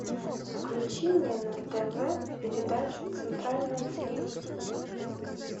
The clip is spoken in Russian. включи мне на тв передачу центральное телевидение